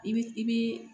I bi i bi